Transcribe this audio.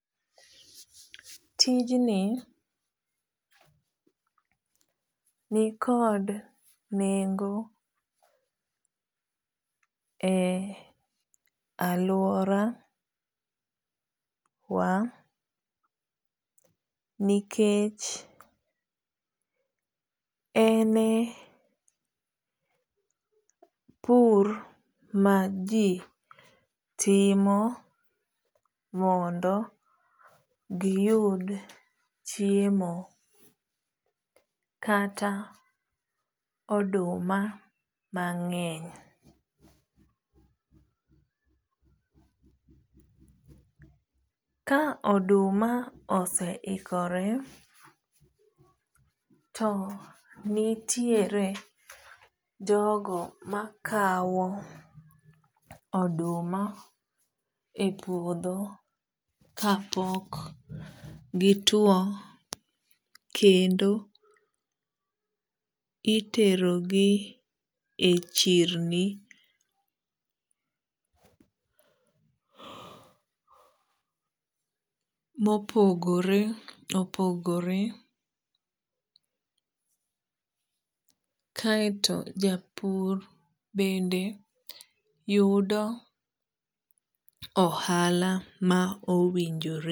Tijni nikod nengo e aluora wa nikech ene pur maji timo mondo giyud chiemo kata oduma mang'eny. Ka oduma oseikore to nitiere jogo makaw oduma e puodho ka pok gituo kendo iterogi e chirni mopogore opogore. Kaeto japur bende yudo ohala ma owinjore.